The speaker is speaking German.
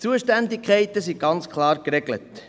Die Zuständigkeiten sind ganz klar geregelt.